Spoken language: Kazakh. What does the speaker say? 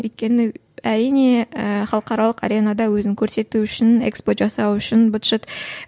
өйткені ііі әрине і халықаралық аренада өзін көрсету үшін экспо жасау үшін быт шыт